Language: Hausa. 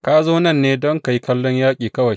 Ka zo nan ne don ka yi kallon yaƙi kawai.